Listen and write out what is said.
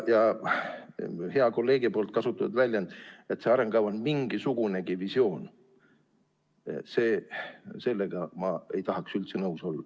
Hea kolleegi kasutatud väljendiga, et see arengukava on mingisugunegi visioon, ei tahaks ma üldse nõus olla.